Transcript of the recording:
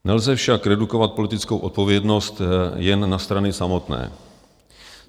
Nelze však redukovat politickou odpovědnost jen na strany samotné.